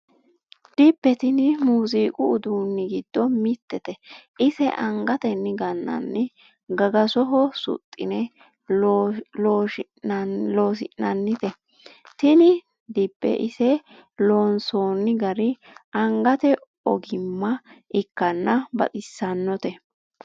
Dibbe tini muziiqu uduuni giddo mitete ise angateni ganani gagasoho suxine lushinannite tini dibbe ise loonsonni gari angate ogimma ikkanna baxisanote.